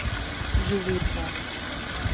живые твари